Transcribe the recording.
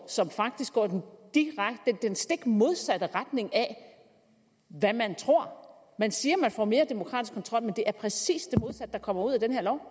som faktisk går i den stik modsatte retning af hvad man tror man siger at man får mere demokratisk kontrol men det er præcis det modsatte der kommer ud